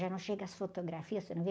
Já não chega as fotografias, você não viu?